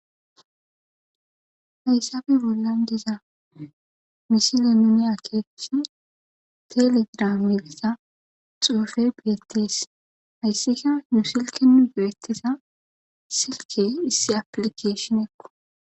Hayssafe bollan diza misile nuuni akeekishin telegiraame giza xuufe beettees. Hayssika nu silkenu beettiza silke issi aplikeeshinekko.